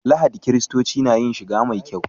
Lahadi kiristoci na yin shiga mai kyau.